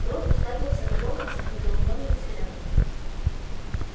рон уставился на локонса недоумённым взглядом